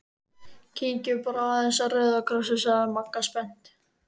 Kíkjum bara aðeins á Rauða Kross- inn sagði Magga spennt.